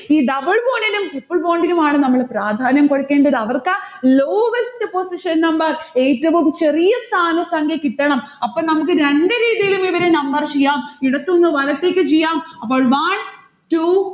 ഈ double bond നും triple bond നുമാണ് നമ്മൾ പ്രാധാന്യം കൊടുക്കേണ്ടത് അവർക്കാ lowest position number ഏറ്റവും ചെറിയ സ്ഥാന സംഖ്യ കിട്ടണം. അപ്പം നമ്മക്ക് രണ്ട് രീതിയിലും ഇവരെ number ചെയ്യാം. ഇടത്തിന്ന് വലത്തേക്ക് ചെയ്യാം, അപ്പോൾ one two